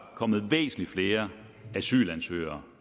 kommet væsentlig flere asylansøgere